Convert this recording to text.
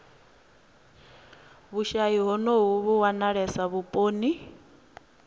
vhushayi honovhu vhu wanalesa vhuponi